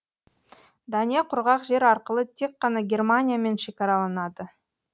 дания құрғақ жер арқылы тек қана германиямен шекараланады